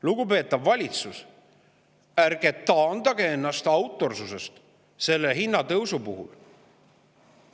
Lugupeetav valitsus, ärge taandage ennast hinnatõusu puhul autorsusest.